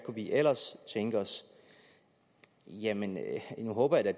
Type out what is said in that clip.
vi ellers tænke os jamen nu håber jeg da